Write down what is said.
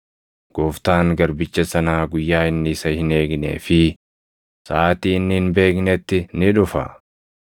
Gooftaan garbicha sanaa guyyaa inni isa hin eegnee fi saʼaatii inni hin beeknetti ni dhufa.